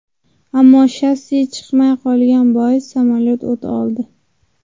Ammo shassi chiqmay qolgani bois samolyot o‘t oldi.